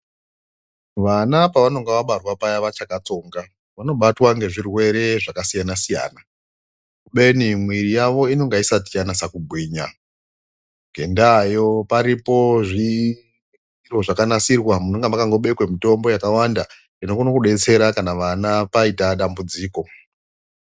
Vana pavanenge vabatwa paya vachakatsonga vanobatwa ngezvirwere zvakasiyana siyana kubeni muiri yavo inenge isati yanyaso kugwinya ngendayo paripo zviro zvakanasirwa panenge pakabekwa mutombo yakawanda inokona kudetsera vana kana paita dambudziko.